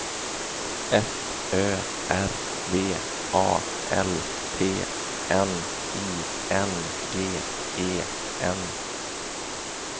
F Ö R V A L T N I N G E N